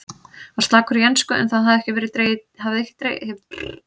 Var slakur í ensku en það hefur ekki dregið dilk á eftir sér.